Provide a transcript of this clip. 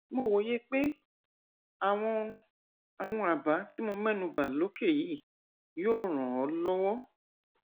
mo wòye pé àwọn àwọn àbá tí mo mẹnu bà lókè yìí yóò ràn ọ lọwọ